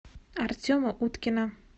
артема уткина